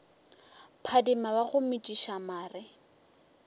phadima wa go metšiša mare